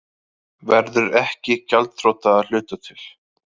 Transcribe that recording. Verður ekki gjaldþrota að hluta til